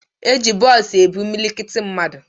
E ji bọọsu ebu imilikiti mmadụ.